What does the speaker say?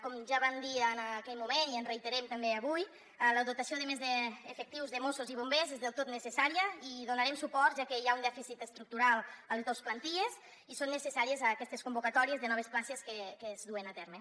com ja vam dir en aquell moment i ens hi reiterem també avui la dotació de més efectius de mossos i bombers és del tot necessària i hi donarem suport ja que hi ha un dèficit estructural a les dos plantilles i són necessàries aquestes convocatòries de noves places que es duen a terme